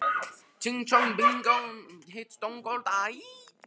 Grímlaugur, hvenær kemur strætó númer fjörutíu og níu?